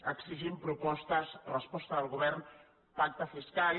exigim propostes resposta del govern pacte fiscal